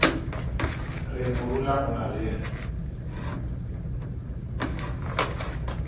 re morula o na le